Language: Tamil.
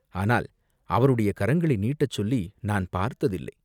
ஆனால் அவருடைய கரங்களை நீட்டச் சொல்லி நான் பார்த்ததில்லை.